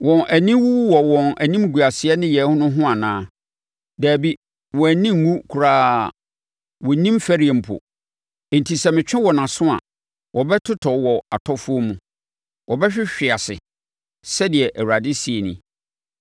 Wɔn ani wu wɔ wɔn animguaseɛ nneyɛɛ no ho anaa? Dabi, wɔn ani nnwu koraa; wɔnnim fɛreɛ mpo. Enti sɛ metwe wɔn aso a, wɔbɛtotɔ wɔ atɔfoɔ mu; wɔbɛhwehwe ase,” sɛdeɛ Awurade seɛ nie.